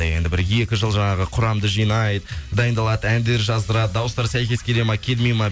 енді бір екі жыл жаңағы құрамды жинайды дайындалады әндер жаздырады дауыстары сәйкес келе ма келмей ма